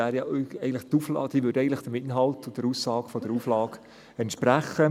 Sie würde eigentlich dem Inhalt und der Aussage der Auflage entsprechen.